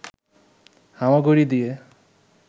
হামাগুড়ি দিয়ে